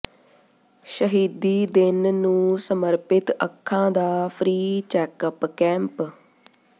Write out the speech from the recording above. ਸ਼ਹੀਦੀ ਦਿਨ ਨੂੰ ਸਮਰਪਿਤ ਅੱਖਾਂ ਦਾ ਫਰੀ ਚੈੱਕਅਪ ਕੈਂਪ